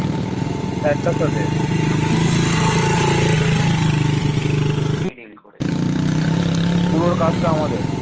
পুরো কাজটা আমাদের